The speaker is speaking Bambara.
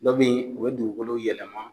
Dɔ be ye o be dugukolo yɛlɛman